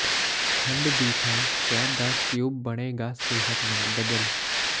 ਖੰਡ ਦੀ ਥਾਂ ਸ਼ਹਿਦ ਦਾ ਕਿਊਬ ਬਣੇਗਾ ਸਿਹਤਮੰਦ ਬਦਲ